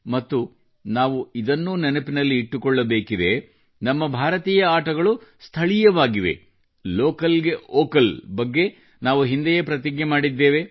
ಮತ್ತು ನಾವು ಇದನ್ನೂ ನೆನಪಿನಲ್ಲಿ ಇಟ್ಟುಕೊಳ್ಳಬೇಕಿದೆ ನಮ್ಮ ಭಾರತೀಯ ಆಟಗಳು ಸ್ಥಳೀಯವಾಗಿವೆ ಲೋಕಲ್ಗೆ ವೋಕಲ್ ಬಗ್ಗೆ ನಾವು ಹಿಂದೆಯೇ ಪ್ರತಿಜ್ಞೆ ಮಾಡಿದ್ದೇವೆ